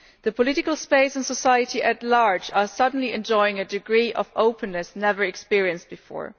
The political sphere and society at large are suddenly enjoying a degree of openness never experienced before.